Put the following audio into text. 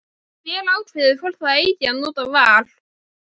Hver ákveður hvort það eigi að nota VAR?